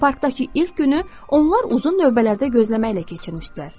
Və parkdakı ilk günü onlar uzun növbələrdə gözləməklə keçirmişdilər.